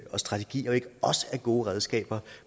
og strategier ikke også er gode redskaber